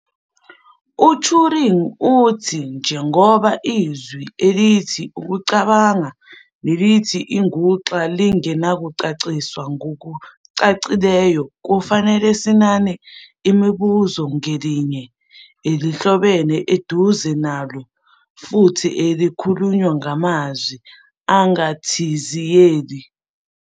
UTuring uthi, njengoba izwi elithi "ukucabanga"nelithi "inguxa" lingenakuchasiswa ngokucacileyo kufanele "sinane umbuzo ngelinye, elihlobene eduze nalo futhi elikhulunywa ngamazwi angathinziyeli."